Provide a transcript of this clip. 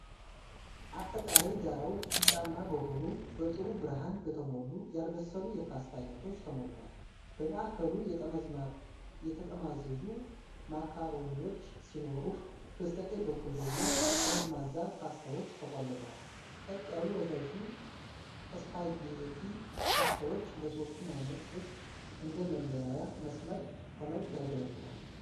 አጠቃላይ ዳራው ቢጫማ በሆኑ፣ በጥሩ ብርሃን በተሞሉ፣ ያልበሰሉ የፓስታ ዓይነቶች ተሞልቷል። በማዕከሉ የተጠማዘዙ ማካሮኒዎች ሲኖሩ፣ በስተቀኝ በኩል ደግሞ ጠመዝማዛ ፓስታዎች ተቆልለዋል። ቀጥ ያሉ ረዣዥም ስፓጌቲ ፓስታዎች ለሦስቱም ዓይነቶች እንደ መለያያ መስመር ሆነው ያገለግላሉ።